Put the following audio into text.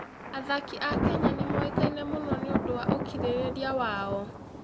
Athaki a Kenya nĩ moĩkaine mũno nĩ ũndũ wa ũkirĩrĩria wao.